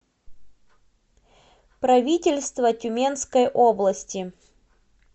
правительство тюменской области